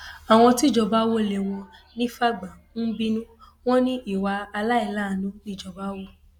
àwọn tíjọba wọlé wọn ní fàgbà ń bínú wọn ní ìwà àìláàánú nìjọba hù